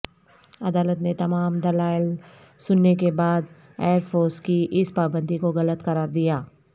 عدالت نے تمام دلائل سننے کے بعد ائرفورس کی اس پابندی کو غلط قرار دیا